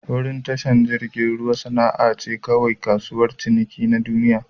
Wurin tashar jirigin ruwa na'sa kaiwa ga kasuwar ciniki na duniyya.